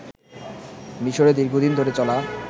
মিশরে দীর্ঘদিন ধরে চলা